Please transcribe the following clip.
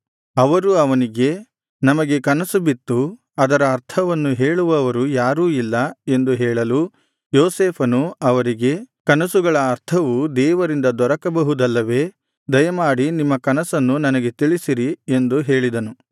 ಅವರು ಅವನಿಗೆ ನಮಗೆ ಕನಸುಬಿತ್ತು ಅದರ ಅರ್ಥವನ್ನು ಹೇಳುವವರು ಯಾರೂ ಇಲ್ಲ ಎಂದು ಹೇಳಲು ಯೋಸೇಫನು ಅವರಿಗೆ ಕನಸುಗಳ ಅರ್ಥವು ದೇವರಿಂದ ದೊರಕಬಹುದಲ್ಲವೇ ದಯಮಾಡಿ ನಿಮ್ಮ ಕನಸನ್ನು ನನಗೆ ತಿಳಿಸಿರಿ ಎಂದು ಹೇಳಿದನು